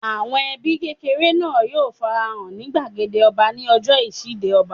Àwọn ẹbí kékeré náà yóò fara hàn ní gbàgede ọba ní ọjọ́ ìṣíde ọba